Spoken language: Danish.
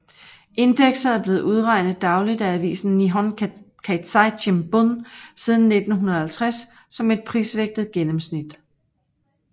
Indekset er blevet udregnet dagligt af avisen Nihon Keizai Shimbun siden 1950 som et prisvægtet gennenmsnit